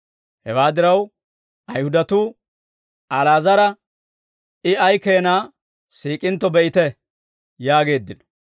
Hewaa diraw, Ayihudatuu, «Ali'aazara I ay keenaa siik'intto be'ite!» yaageeddino.